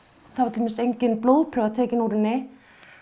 dæmis engin blóðprufa tekin úr henni